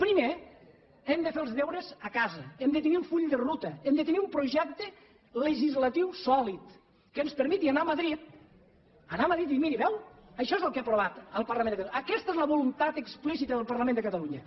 primer hem de fer els deures a casa hem de tenir un full de ruta hem de tenir un projecte legislatiu sòlid que ens permeti anar a madrid dir miri ho veu això és el que ha aprovat el parlament de catalunya aquesta és la voluntat explícita del parlament de catalunya